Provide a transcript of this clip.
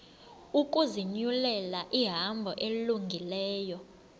ukuzinyulela ihambo elungileyo